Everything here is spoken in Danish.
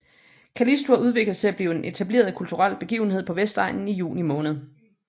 Callisto har udviklet sig til at blive en etableret kulturel begivenhed på Vestegnen i juni måned